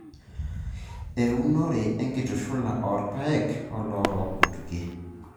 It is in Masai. Eunore enkitushula oo irpaek oloorook kutukie.